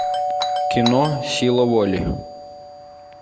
кино сила воли